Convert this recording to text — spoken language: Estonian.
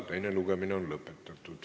Teine lugemine on lõpetatud.